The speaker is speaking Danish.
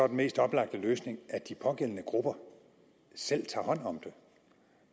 mest oplagte løsning at de pågældende grupper selv tager hånd om det